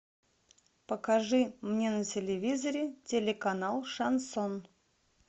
покажи мне на телевизоре телеканал шансон